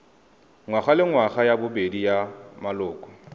ngwagalengwaga ya bobedi ya maloko